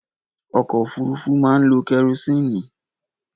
Ọkọ òfúrufú máa ń lo kerosini